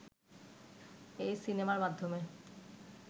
এই সিনেমার মাধ্যমে